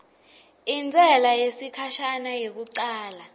intsela yesikhashana yekucala